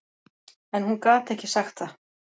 En hún gat ekki sagt það.